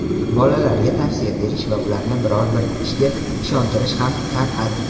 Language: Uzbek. bolalarga tavsiya berish va ularni biror bir ishga ishontirish ham san’at.